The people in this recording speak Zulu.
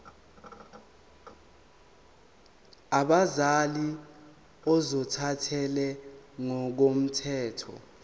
abazali ozothathele ngokomthetho